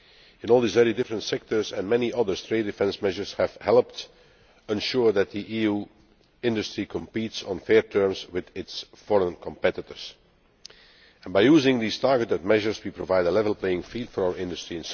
In all these very different sectors, and many others, trade defence measures have helped ensure that the EU's industry competes on fair terms with its foreign competitors. By using these targeted measures, we provide a level playing field for our industry.